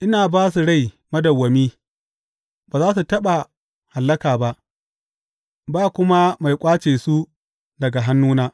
Ina ba su rai madawwami, ba za su taɓa hallaka ba; ba kuma mai ƙwace su daga hannuna.